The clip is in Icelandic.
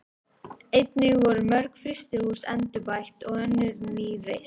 Einnig voru mörg frystihús endurbætt og önnur ný reist.